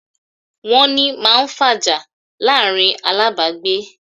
"Wọ́n ni", máa ń fàjà láàrín alábàágbé